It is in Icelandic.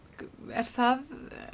er það